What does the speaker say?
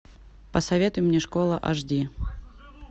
посоветуй мне школа аш ди